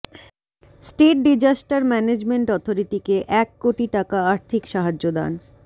state disaster management অথরিটিকে এক কোটি টাকা আর্থিক সাহায্য দান